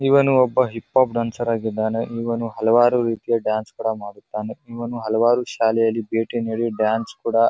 ಇವನು ಒಬ್ಬ hip hop dancer ಆಗಿದ್ದಾನೆ ಇವನು ಹಲವಾರು ರೀತಿಯ ಡಾನ್ಸ್ ತರ ಮಾಡುತ್ತಾನೆ ಇವನು ಹಲವಾರು ಶಾಲೆಯಲ್ಲಿ ಭೇಟಿ ನೀಡಿ ಡಾನ್ಸ್ ಕುಡಾ --